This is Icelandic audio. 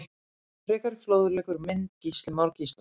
Frekari fróðleikur og mynd: Gísli Már Gíslason.